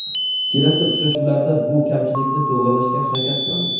Kelasi uchrashuvlarda bu kamchilikni to‘g‘rilashga harakat qilamiz.